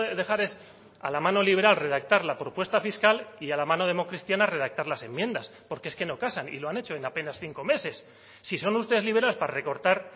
dejar es a la mano liberal redactar la propuesta fiscal y a la mano democristiana redactar las enmiendas porque es que no casan y lo han hecho en apenas cinco meses si son ustedes liberales para recortar